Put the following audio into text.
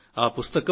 ఆ పుస్తకం